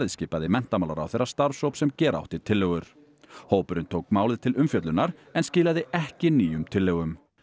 skipaði menntamálaráðherra starfshóp sem gera átti tillögur hópurinn tók málið til umfjöllunar en skilaði ekki nýjum tillögum